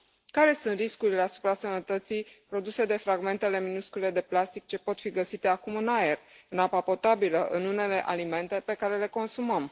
Care sunt riscurile asupra sănătății produse de fragmentele minuscule de plastic ce pot fi găsite acum în aer, în apa potabilă, în unele alimente pe care le consumăm?